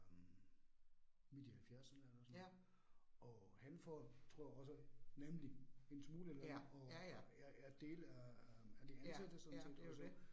Øh midt i halvfjerserne eller sådan noget, og han får tror jeg også nemlig en smule løn og er er del af af de ansatte sådan set også